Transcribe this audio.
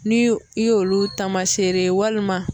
Ni i y'olu taamaseere ye walima